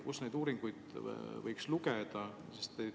Kus neid uuringuid võiks lugeda?